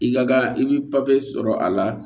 I ka kan i bɛ papiye sɔrɔ a la